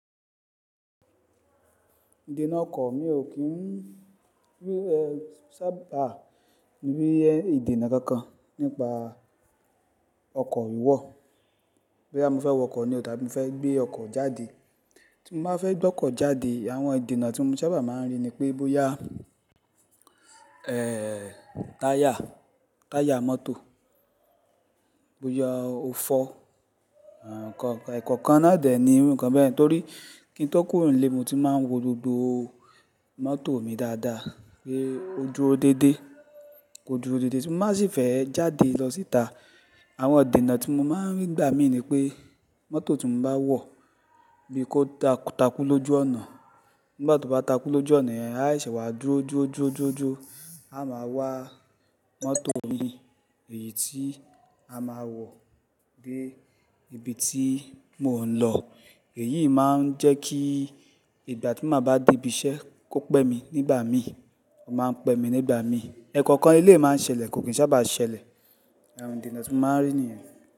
Ìdènà ọkọ̀ mi ò kí ń sábà rí ìdènà kankan nípa ọkọ̀ wíwọ̀. Bo ya mó fẹ́ wọ ọkọ̀ ni o dá bí mó fẹ́ gbé ọkọ̀ jáde. Tí mó má fẹ́ gbé ọkọ̀ jáde àwọn ìdènà tí mó sábà máa ń rí ni pé bóyá, ẹ́ẹ́ táyà, táyà mọ́tò, bóyá ó fọ́, ẹ̀ẹ̀ kọ́ọ̀, ẹ̀kọ̀kan náà dẹ̀ ní irú ǹkan bẹ́ẹ̀ torí kí ń tó kúrò nílé mó ti máa ń wo gbogbo mọ́tò mi dáadáa pé odúro dédé, oduro dédé. Ti n baá sì fẹ́ jáde lọ síta àwọn idènà tí mó máa ń rí gbà mí ní pé mọ́tò tí mó bá wọ̀ bí kò takú lójú ọ̀nà, nígbà tí ó bá takú lójú ọ̀nà, a ṣẹ́wà duro, duro, duro, duro, a máa wá mọ́tò mi èyí tí a máa wọ̀ dé ibi tí mò ń lọ. Èyí máa ń jẹ́ kí ìgbà tí mó bá dé ibi iṣẹ́ kó pẹ́ mi nígbà mí, ó máa ń pẹ́ mi nígbà mí. Ẹ̀kọ̀kan eleyi máa ń ṣẹlẹ̀ kò kí ń sábà ṣẹlẹ̀. Àwọn ìdènà tí mó máa ń rí nìyẹn.